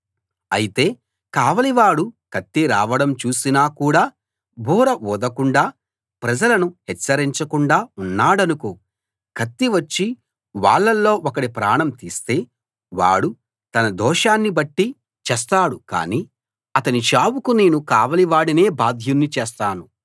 అయితే కావలివాడు కత్తి రావడం చూసినా కూడా బూర ఊదకుండా ప్రజలను హెచ్చరించకుండా ఉన్నాడనుకో కత్తి వచ్చి వాళ్ళలో ఒకడి ప్రాణం తీస్తే వాడు తన దోషాన్ని బట్టి చస్తాడు కానీ అతని చావుకు నేను కావలి వాడినే బాధ్యుని చేస్తాను